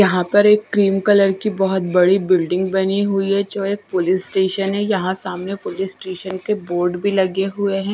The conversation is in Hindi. यहां पर एक क्रीम कलर की बहोत बड़ी बिल्डिंग बनी हुई है जो एक पुलिस स्टेशन है यहां सामने पुलिस स्टेशन के बोर्ड भी लगे हुए हैं।